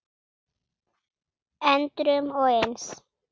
endrum og eins.